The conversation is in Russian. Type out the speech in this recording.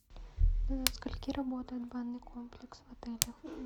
до скольки работает банный комплекс в отеле